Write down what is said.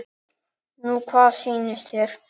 Nú hvað sýnist þér.